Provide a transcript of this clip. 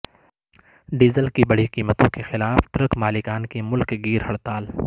diesel کی بڑھی قیمتوں کے خلاف ٹرک مالکان کی ملک گیر ہڑتال